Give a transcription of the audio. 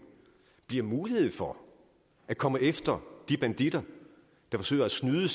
bliver mulighed for at komme efter de banditter der forsøger at snyde